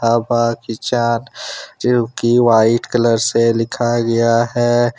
White colour से लिखा गया है।